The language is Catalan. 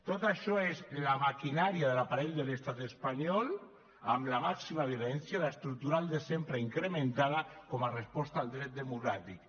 tot això és la maquinària de l’aparell de l’estat espanyol amb la màxima virulència l’estructural de sempre incrementada com a resposta al dret democràtic